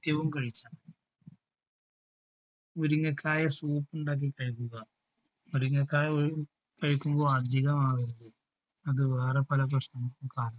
ത്യവും കഴിക്കുക. മുരിങ്ങക്കായ സൂപ്പ് ഉണ്ടാക്കി കഴിക്കുക മുരിങ്ങക്കായ കഴി കഴിക്കുമ്പോൾ അധികം ആളുകൾക്കും അത് വേറെ പല പ്രശ്നങ്ങൾക്കും കാരണം